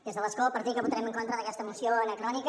des de l’escó per dir que votarem en contra d’aquesta moció anacrò·nica